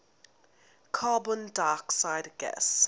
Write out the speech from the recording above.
carbon dioxide gas